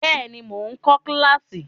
Bẹ́ẹ̀ ni, mò ń kọ kíláàsì.